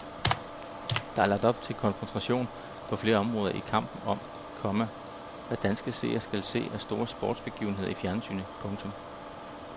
Der er lagt op til konfrontation på flere områder i kampen om, komma hvad danske seere skal se af store sportsbegivenheder i fjernsynet. punktum